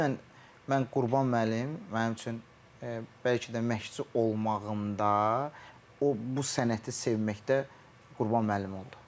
Ümumən mən Qurban müəllim mənim üçün bəlkə də məşqçi olmağımda o bu sənəti sevməkdə Qurban müəllim oldu.